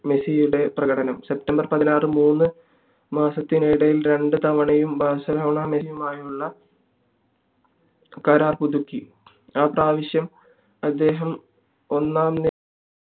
മെസ്സിയുടെ പ്രകടനം september പതിനാറ് മൂന്നു മാസത്തിനിടയിൽ രണ്ടു തവണയും ബാർസിലോണ മെസ്സിയുമായുള്ള കരാർ പുതുക്കി ആ പ്രാവിശ്യം അദ്ദേഹം ഒന്നാം